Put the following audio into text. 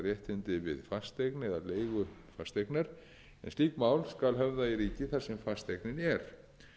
leigu fasteignar slík mál skal höfða í ríki þar sem fasteignin er